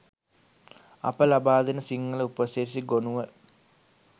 අප ලබාදෙන සිංහල උපසිරැසි ගොණුව